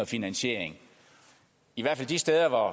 finansiering i hvert fald de steder